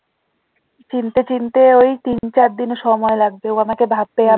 চিনতে চিনতে ওই তিন চার দিন সময় লাগবে